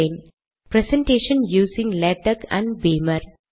- presentation using LaTeX and Beamer